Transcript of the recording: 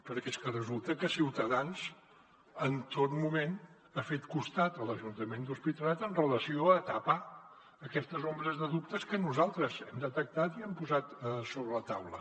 perquè és que resulta que ciutadans en tot moment ha fet costat a l’ajuntament de l’hospitalet amb relació a tapar aquestes ombres de dubtes que nosaltres hem detectat i hem posat sobre la taula